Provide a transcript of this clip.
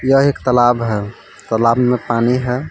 यह एक तलाब है तलाब में पानी है।